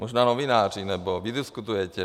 Možná novináři nebo vy diskutujete.